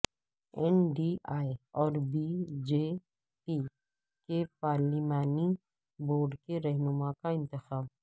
N D A اور B J P کے پارلیمانی بورڈ کے رہنما کا انتخاب